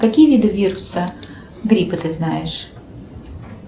какие виды вируса гриппа ты знаешь